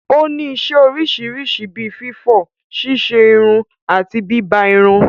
Ó ní isẹ́ oríṣiríṣi bí fífọ̀, ṣíṣerun àti bíbá irun.